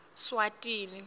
swatini